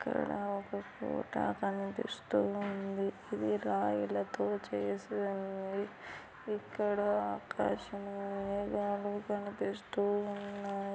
ఇక్కడ ఒక కోట కనిపిస్తూ ఉంది ఈ రాయిలతో చేసాయి ఇక్కడ ఆకాశం మేఘాలు కనిపిస్తున్నాయి.